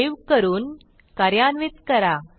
save करून कार्यान्वित करा